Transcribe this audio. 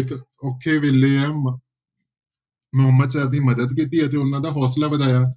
ਇੱਕ ਔਖੇ ਵੇਲੇ ਮੁਹੰਮਦ ਸ਼ਾਹ ਦੀ ਮਦਦ ਕੀਤੀ ਅਤੇ ਉਹਨਾਂ ਦਾ ਹੌਸਲਾ ਵਧਾਇਆ।